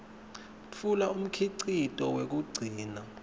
tfula umkhicito wekugcina